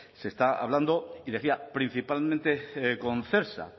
se estaba hablando y decía principalmente con celsa